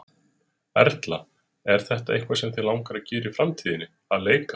Erla: Og er þetta eitthvað sem þig langar að gera í framtíðinni, að leika?